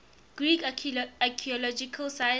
greek archaeological sites